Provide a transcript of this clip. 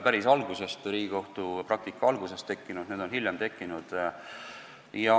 Päris Riigikohtu praktika alguses neid ei olnud, need on hiljem tekkinud.